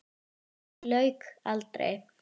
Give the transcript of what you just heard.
Því lauk aldrei.